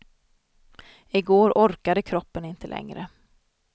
I går orkade kroppen inte längre.